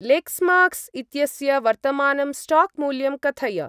Lexmarks इत्यस्य वर्तमानं स्टाक्-मूल्यं कथय।